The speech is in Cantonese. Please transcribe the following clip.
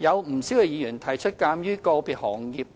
不少議員提出，鑒於個別行業